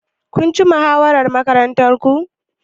Kun ci muhawarar Makarantun?